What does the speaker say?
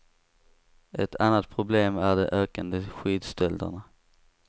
Ett annat problem är de ökande skidstölderna.